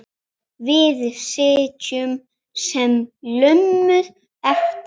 Við sitjum sem lömuð eftir.